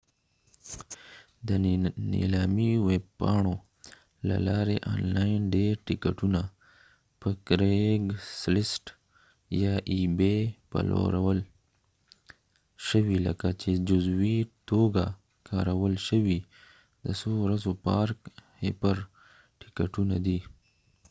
د نیلامي ویب پاڼو له لارې آنلاین ډیر ټیکټونه پلورل شوي لکه ebay یا craigslist په جزوي توګه کارول شوي د څو ورځو پارک هپر ټیکټونه دی